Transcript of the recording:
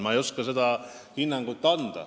Ma ei oska seda hinnangut anda.